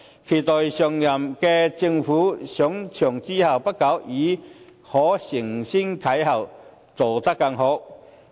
期待下任政府上場後不久，已經可以承先啟後，做得更好。